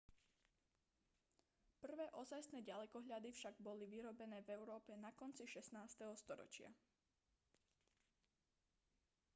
prvé ozajstné ďalekohľady však boli vyrobené v európe na konci 16. storočia